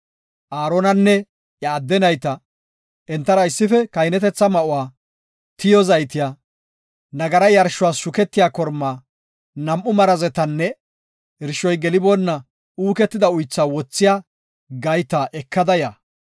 Aaronanne iya adde nayta, entara issife kahinetetha ma7uwa, tiyo zaytiya, nagara yarshuwa shuketiya kormaa, nam7u marazetanne, irshoy geliboonna uuketida uythaa wothiya gayta ekada ya.